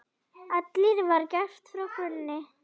Allt var gert frá grunni.